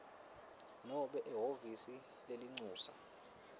nobe ehhovisi lelincusa